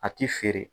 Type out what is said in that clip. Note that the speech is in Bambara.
A ti feere